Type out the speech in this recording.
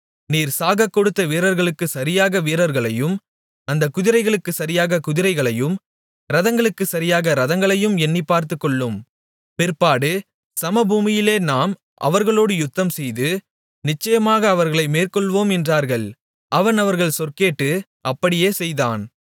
நீர் சாகக்கொடுத்த வீரர்களுக்குச் சரியாக வீரர்களையும் அந்தக் குதிரைகளுக்குச் சரியாகக் குதிரைகளையும் இரதங்களுக்குச் சரியாக இரதங்களையும் எண்ணிப் பார்த்துக்கொள்ளும் பிற்பாடு சமபூமியிலே நாம் அவர்களோடு யுத்தம்செய்து நிச்சயமாக அவர்களை மேற்கொள்வோம் என்றார்கள் அவன் அவர்கள் சொற்கேட்டு அப்படியே செய்தான்